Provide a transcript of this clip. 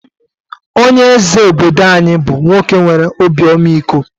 Onye eze obodo anyi bú nwoke nwere obi ọmịiko